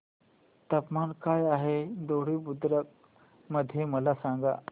तापमान काय आहे दोडी बुद्रुक मध्ये मला सांगा